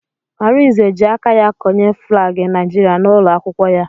Arinze ji aka ya konye flaagi Naijiria n'ụlọ akwụkwọ ya